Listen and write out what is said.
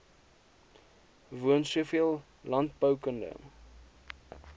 woon soveel landboukundige